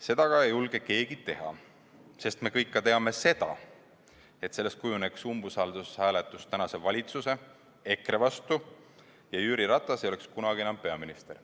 Seda aga ei julge keegi teha, sest me kõik teame, et sellest kujuneks umbusaldushääletus tänase valitsuse ja EKRE vastu ning Jüri Ratas ei oleks kunagi enam peaminister.